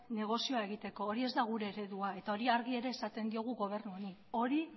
negozioa egiteko hori ez da gure eredua eta hori ere argi esaten diogu gobernu honi hori